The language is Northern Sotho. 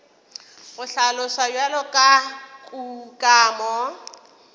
go hlaloswa bjalo ka kukamo